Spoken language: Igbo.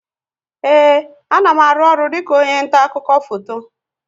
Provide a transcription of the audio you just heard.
Ee, a na m aru ọrụ dịka onye nta akụkọ foto